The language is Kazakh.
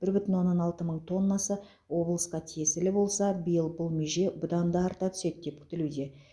бір бүтін оннан алты мың тоннасы облысқа тиесілі болса биыл бұл меже бұдан да арта түседі деп күтілуде